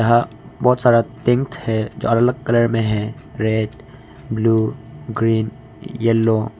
यहां बहोत सारा टेंट है जो अलग अलग कलर में है रेड ब्लू ग्रीन येलो --